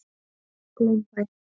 Glaumbæ